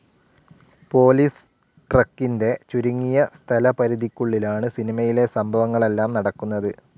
Police ട്രക്കിൻ്റെ ചുരുങ്ങിയ സ്ഥലപരിധിക്കുള്ളിലാണ് സിനിമയിലെ സംഭവങ്ങളെല്ലാം നടക്കുന്നത്.